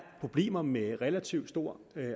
problemer med en relativt stor